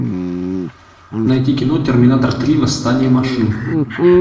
найти кино терминатор три восстание машин